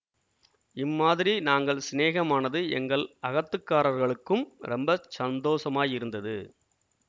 இம்மாதிரி நாங்கள் சிநேகமானது எங்கள் அகத்துக்காரர்களுக்கும் ரொம்ப சந்தோஷமாயிருந்தது